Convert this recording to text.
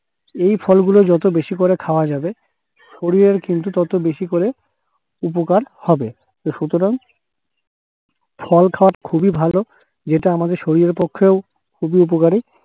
এই ফলগুলো যত বেশি করে খাওয়া যাবে শরীরের কিন্তু তত বেশি করে উপকার হবে। সুতরাং, ফল খাওয়া খুবই ভালো। যেটা আমাদের শরীরের পক্ষেও খুবই উপকারী।